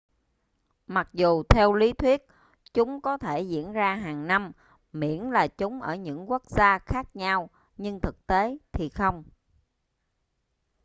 mặc dù theo lý thuyết chúng có thể diễn ra hàng năm miễn là chúng ở những quốc gia khác nhau nhưng thực tế thì không